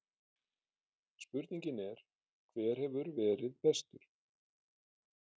Spurningin er: Hver hefur verið bestur?